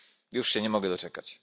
Już się nie mogę doczekać.